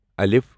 ا